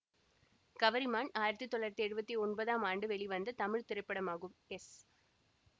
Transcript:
கவரிமான் ஆயிரத்தி தொள்ளாயிரத்தி எழுவத்தி ஒன்பதாம் ஆண்டு வெளிவந்த தமிழ் திரைப்படமாகும் எஸ்